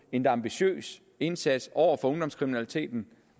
en ambitiøs indsats over for ungdomskriminaliteten